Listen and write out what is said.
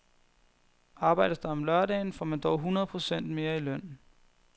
Arbejdes der om lørdagen, får man dog hundrede procent mere i løn.